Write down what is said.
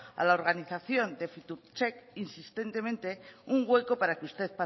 a la organización de fiturtech insistentemente un hueco para que usted